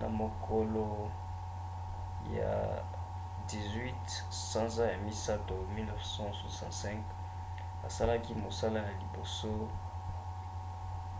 na mokolo ya 18 sanza ya misato 1965 asalaki mosala ya liboso